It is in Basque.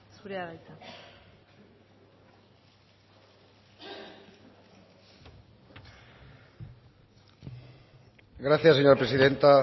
zurea da hitza gracias señora presidenta